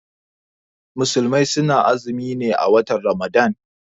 Musulmai suna azumi ne a watan ramadan.